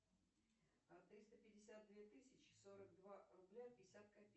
триста пятьдесят две тысячи сорок два рубля пятьдесят копеек